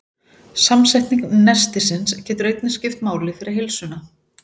Samsetning nestisins getur einnig skipt máli fyrir heilsuna.